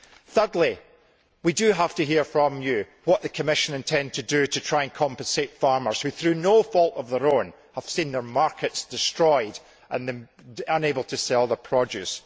Thirdly, we do have to hear from you what the Commission intends to do to try and compensate farmers who, through no fault of their own, have seen their markets destroyed and are unable to sell their produce.